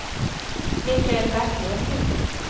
Mikael Backlund